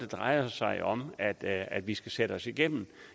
drejer sig om at at vi skal sætte os igennem